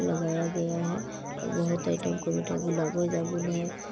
लगाया गया है और बहुत आइटम का मिठाई गुलाबो जामुन है।